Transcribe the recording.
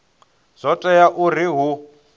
uri zwo tea uri hu